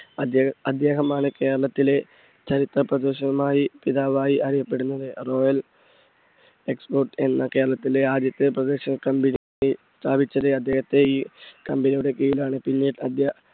അദ്ദേ~അദ്ദേഹമാണ് കേരളത്തിലെ ചരിത്ര പ്രദർശന പിതാവായി അറിയപ്പെടുന്നത്. royal export എന്ന കേരളത്തിലെ ആദ്യത്തെ പ്രദർശന company സ്ഥാപിച്ചത് അദ്ദേഹത്തെ ഈ company യുടെ കീഴിൽ ആണ്. പിന്നെ